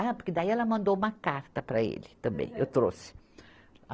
Ah, porque daí ela mandou uma carta para ele também, eu trouxe.